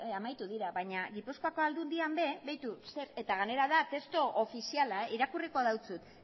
amaitu dira baina gipuzkoako aldundian be begiratu zer eta gainera da testu ofiziala irakurriko dautsut